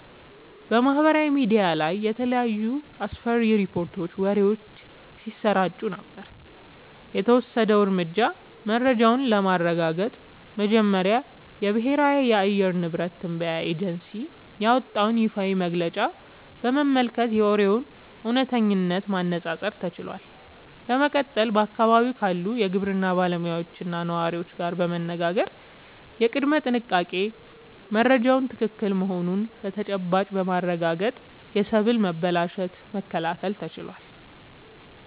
በማህበራዊ ሚዲያ ላይ የተለያዩ አስፈሪ ሪፖርቶችና ወሬዎች ሲሰራጩ ነበር። የተወሰደው እርምጃ፦ መረጃውን ለማረጋገጥ መጀመሪያ የብሔራዊ የአየር ንብረት ትንበያ ኤጀንሲ ያወጣውን ይፋዊ መግለጫ በመመልከት የወሬውን እውነተኝነት ማነፃፀር ተችሏል። በመቀጠልም በአካባቢው ካሉ የግብርና ባለሙያዎችና ነዋሪዎች ጋር በመነጋገር የቅድመ-ጥንቃቄ መረጃው ትክክል መሆኑን በተጨባጭ በማረጋገጥ የሰብል መበላሸትን መከላከል ተችሏል።